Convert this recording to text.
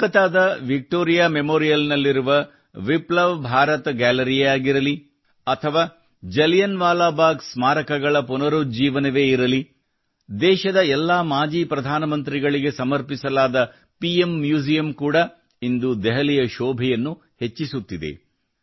ಕೊಲ್ಕತ್ತಾದ Victoria memorial ನಲ್ಲಿರುವ ವಿಪ್ಲವ ಭಾರತ ಗ್ಯಾಲರಿಯೇ ಆಗಿರಲಿ ಅಥವಾ ಜಲಿಯನ್ ವಾಲಾ ಬಾಗ್ ಸ್ಮಾರಕಗಳ ಪುನರುಜ್ಜೀವನವೇ ಇರಲಿ ದೇಶದ ಎಲ್ಲಾ ಮಾಜಿ ಪ್ರಧಾನಮಂತ್ರಿಗಳಿಗೆ ಸಮರ್ಪಿಸಲಾದ ಪಿಎಂ ಮ್ಯೂಸಿಯಂ ಕೂಡಾ ಇಂದು ದೆಹಲಿಯ ಶೋಭೆಯನ್ನು ಹೆಚ್ಚಿಸುತ್ತಿದೆ